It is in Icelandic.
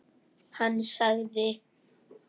Hann sagði.